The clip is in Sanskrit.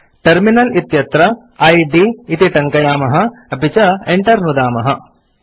टर्मिनल इत्यत्र इद् इति टङ्कयामः160 अपि च enter नुदामः